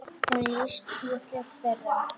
Hún lýsti útliti þeirra.